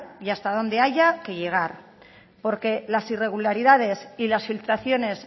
y hasta donde haya que llegar porque las irregularidades y las filtraciones